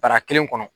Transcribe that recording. Bara kelen kɔnɔ